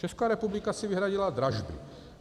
Česká republika si vyhradila dražby.